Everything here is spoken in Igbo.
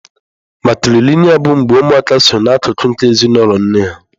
Matrịlịnịa bụ mgbe ụmụaka sọ na akụkụ nke ezinụlọ nne ha.